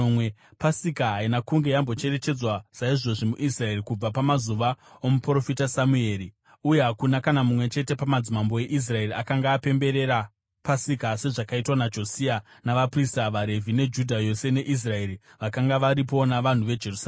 Pasika haina kunge yambocherechedzwa saizvozvi muIsraeri kubva pamazuva omuprofita Samueri; uye hakuna kana mumwe chete pamadzimambo eIsraeri akanga apemberera Pasika sezvakaitwa naJosia navaprista, vaRevhi neJudha yose neIsraeri vakanga varipo navanhu veJerusarema.